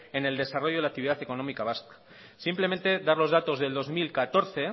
en el desarrollo de la actividad económica vasca simplemente dar los datos del dos mil catorce